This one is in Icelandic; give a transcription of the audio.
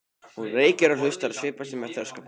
Hún reykir og hlustar og svipast um eftir öskubakka.